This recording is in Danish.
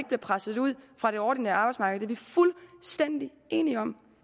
bliver presset ud fra det ordinære arbejdsmarked det er vi fuldstændig enige om